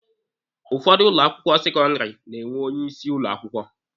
Ụfọdụ ụlọ akwụkwọ sekọndịrị na-enwe onye isi ụlọ akwụkwọ.